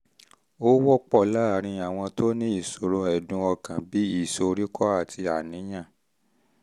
ó wọ́pọ̀ láàárín àwọn tó ní ìṣòro ẹ̀dùn ọkàn bí ìsoríkọ́ àti àníyàn